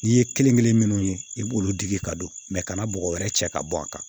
N'i ye kelen kelen minnu ye i b'olu digi ka don kana bɔgɔ wɛrɛ cɛ ka bɔ a kan